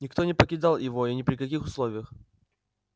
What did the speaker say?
никто не покидал его ни при каких условиях